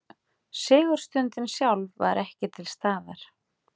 Sigurstundin sjálf var ekki til staðar